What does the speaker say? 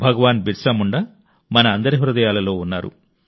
భగవాన్ బిర్సా ముండా మన అందరి హృదయాలలో ఉన్నారు